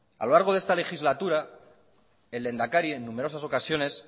a lo largo de esta legislatura el lehendakari en numerosas ocasiones